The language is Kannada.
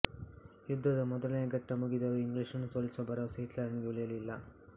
ಯುದ್ಧದ ಮೊದಲನೆಯ ಘಟ್ಟ ಮುಗಿದರೂ ಇಂಗ್ಲಿಷರನ್ನು ಸೋಲಿಸುವ ಭರವಸೆ ಹಿಟ್ಲರನಿಗೆ ಉಳಿಯಲಿಲ್ಲ